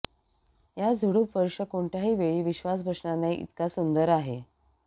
या झुडूप वर्ष कोणत्याही वेळी विश्वास बसणार नाही इतका सुंदर आहे